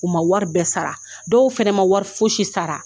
U ma wari bɛɛ sara, dɔw fɛnɛ ma wari foyisi sara.